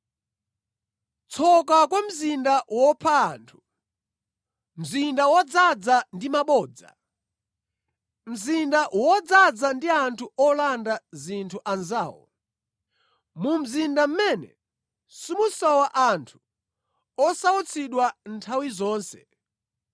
Tsoka kwa mzinda wopha anthu, mzinda wodzaza ndi mabodza, mzinda wodzaza ndi anthu olanda zinthu anzawo, mu mzinda mʼmene simusowa anthu osautsidwa nthawi zonse!